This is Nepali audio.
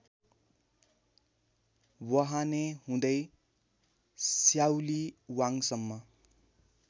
वहाने हुँदै स्याउलीवाङसम्म